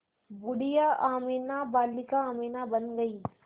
बूढ़िया अमीना बालिका अमीना बन गईं